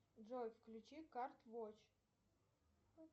джой включи карт вотч